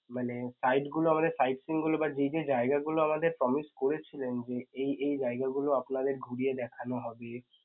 মানে site গুলো আমাদের sightseeing গুলো বা যেই যেই জায়গাগুলো আমাদের promise করেছিলেন যে এই এই জায়গাগুলো আপনাদের ঘুরিয়ে দেখানো হবে